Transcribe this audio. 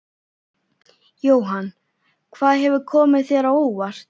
Jóhann: Hvað hefur komið þér á óvart?